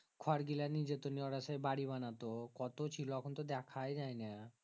খোর গীলা নিজেগো ওরা সেই বাড়ি বানাতো কত ছিল এখন তো দেখাই যায়না